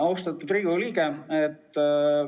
Austatud Riigikogu liige!